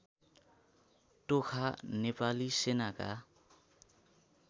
टोखा नेपाली सेनाका